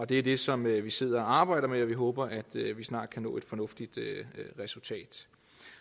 det er det som vi sidder og arbejder med og vi håber at vi snart kan nå et fornuftigt resultat